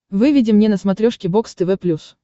выведи мне на смотрешке бокс тв плюс